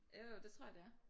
Jo jo det tror jeg det er